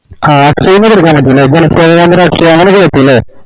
ആഹ് അങ്ങനൊക്കെ കിട്ടൂലെ